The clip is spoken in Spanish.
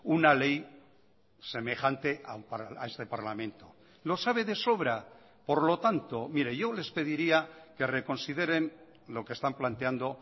una ley semejante a este parlamento lo sabe de sobra por lo tanto mire yo les pediría que reconsideren lo que están planteando